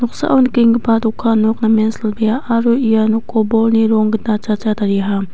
noksao nikenggipa dokan nok namen silbea aro ia nokko bolni ronggita chacha tariaha.